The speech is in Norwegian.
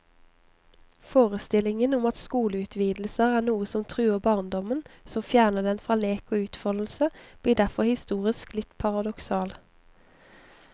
Forestillingen om at skoleutvidelser er noe som truer barndommen, som fjerner den fra lek og utfoldelse, blir derfor historisk litt paradoksal.